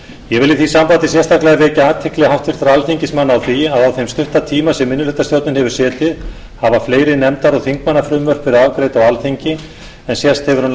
ég vil í því sambandi sérstaklega vekja athygli háttvirtra alþingismanna á því að á þeim stutta tíma sem minnihlutastjórnin hefur setið hafa fleiri nefnda og þingmannafrumvörp verið afgreidd á alþingi en sést hefur